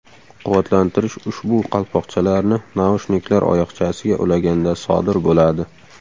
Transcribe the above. Quvvatlantirish ushbu qalpoqchalarni naushniklar oyoqchasiga ulaganda sodir bo‘ladi.